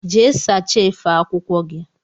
Jee sacha efe akwụkwọ gi!!